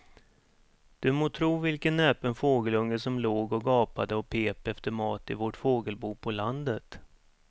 Du må tro vilken näpen fågelunge som låg och gapade och pep efter mat i vårt fågelbo på landet.